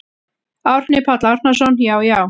Árni Páll Árnason: Já já.